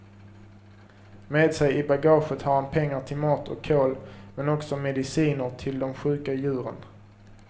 Med sig i bagaget har han pengar till mat och kol, men också mediciner till de sjuka djuren.